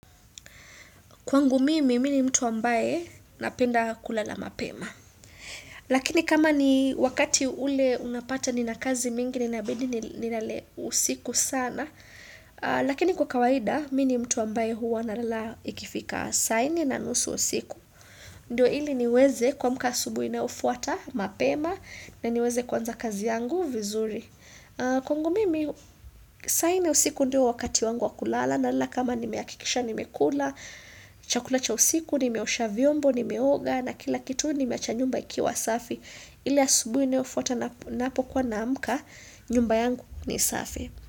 Kwangu mimi, mimi mtu ambaye napenda kulala mapema. Lakini kama ni wakati ule unapata nina kazi mingi ninabidi ni nalale usiku sana, lakini kwa kawaida, mi ni mtu ambaye huwa nalala ikifika sa nne na nusu usiku. Ndiyo ili niweze kuamka asubuhi inayofuata mapema na niweze kuanza kazi yangu vizuri. Kwangu mimi, saa nne usiku ndio wakati wangu wa kulala nalala kama nimehakikisha nimekula, Chakula cha usiku nimeosha vyombo nimeoga na kila kitu nimeacha nyumba ikiwa safi ile asubuhi inayofuata napokuwa naamka nyumba yangu ni safi.